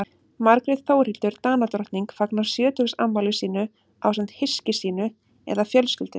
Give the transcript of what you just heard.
margrét þórhildur danadrottning fagnar sjötugsafmæli sínu ásamt hyski sínu eða fjölskyldu